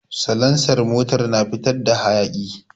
Salansar motar na fitar da hayaki